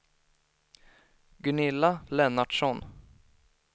Gunilla Lennartsson